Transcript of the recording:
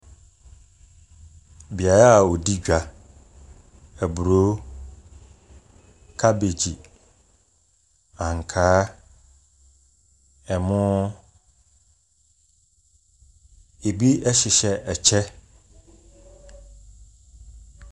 Beaeɛ a wɔdi dwa. Aburo, kabegyi, ankaa, ɛmo. Ɛbi hyehyɛ ɛkyɛ.